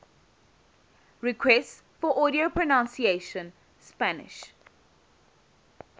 requests for audio pronunciation spanish